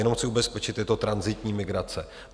Jenom chci ubezpečit, je to tranzitní migrace.